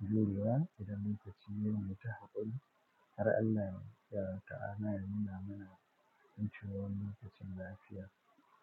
jurewa idan mun tashi yin wuta hakon, har Allah ya ta'ana ya nuna mana mun ciwon lokacin lafiya.